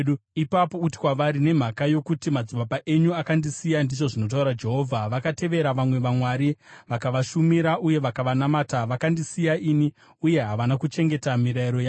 ipapo uti kwavari, ‘Nemhaka yokuti madzibaba enyu akandisiya,’ ndizvo zvinotaura Jehovha, ‘vakatevera vamwe vamwari vakavashumira uye vakavanamata. Vakandisiya ini uye havana kuchengeta mirayiro yangu.